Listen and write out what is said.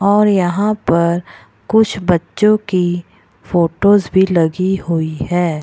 और यहाँ पर कुछ बच्चों की फोटोज भी लगी हुई है।